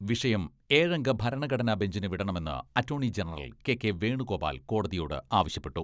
വിഷയം ഏഴംഗ ഭരണഘടനാ ബെഞ്ചിന് വിടണമെന്ന് attorney general K K Venugopal കോടതിയോട് ആവശ്യപ്പെട്ടു.